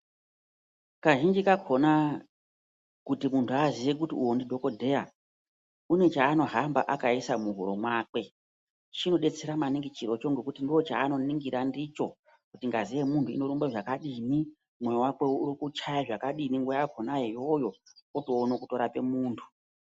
Kazhinji kakona kuti muntu aziye kuti uyo ndidhogodheya une chaanohamba akaisa muhuro mwakwe. Chinobetsera maningi chirocho nekuti ndochanoningira ndicho kuti ngazi yemuntu inorumba zvakadini mwoyo vakwe urikuchaya zvakadini nguva yakona iyoyo otoone kurape muntu.